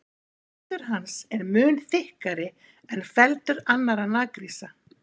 Feldur hans er mun þykkari en feldur annarra naggrísa.